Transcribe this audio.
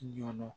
Ɲɔn